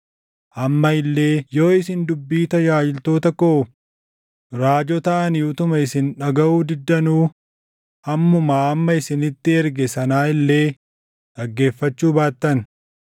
amma illee yoo isin dubbii tajaajiltoota koo raajota ani utuma isin dhagaʼuu diddanuu ammumaa amma isinitti erge sanaa illee dhaggeeffachuu baattan,